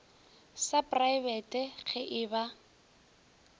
sa praebete ge e ba